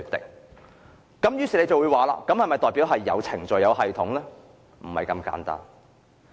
大家可能會問道："這不是代表有程序和系統嗎？